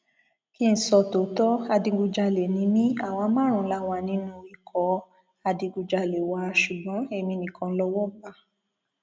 kín ń sọ tòótọ adigunjalè ni mí àwa márùnún la wà nínú ikọ adigunjalè wa ṣùgbọn èmi nìkan lowó bá